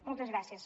moltes gràcies